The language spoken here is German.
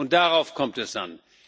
Und darauf kommt es an.